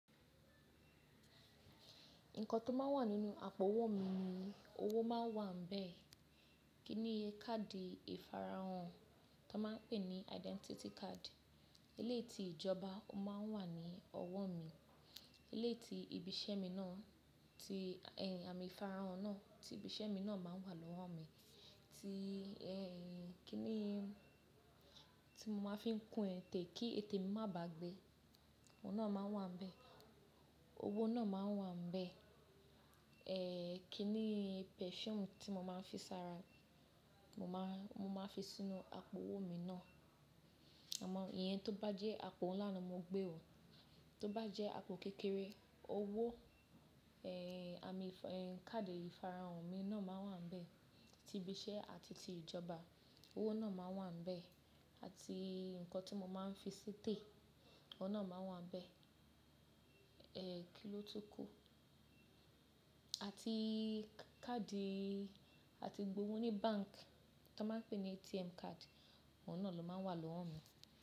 Nǹkan tó máa ń wà nínú àpò owó mi ni owó máa ń wà ńbẹ́ẹ̀, kíni káàdì ìfarahàn tó máa ń pè ní identity card, eleyi ti ìjọba ó máa ń wà ní ọwọ́ mi, eleyi ti ibi iṣẹ́ mi náà tí ẹ́ àmì ìfarahàn náà ti ibi iṣẹ́ mi náà máa ń wà lọ́wọ́ mi, tí ẹ́ kíni tí mo máa ń fi ń kun ètè kí ètè mi má bàá gbẹ, òun náà máa ń wà ńbẹ́ẹ̀. Owó náà máa ń wà ńbẹ́ẹ̀, ẹ́ kíni perfume tí mo máa ń fi sára, mo máa, mo máa fi sínú àpò owó mi náà. Àmọ́ iye ti o bá jẹ́ àpò ńlá ni mo gbé o, ti o bá jẹ́ àpò kékeré owó ẹ́ àmì ẹ́ káàdì ìfarahàn mi náà máa wà ńbẹ́ẹ̀ ti ibi iṣẹ́ àti ti ìjọba. Owó náà máa wà ńbẹ́ẹ̀ àti nǹkan tí mo máa ń fi si ete òun náà máa wà ńbẹ́ẹ̀. É kí ló tún kù? Àti káàdì àti gbowó ní bank tó máa ń pè ní ATM card, òun náà ló máa n wà lọ́wọ́ mi.